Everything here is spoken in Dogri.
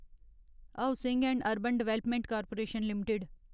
housing and urban development corporation limited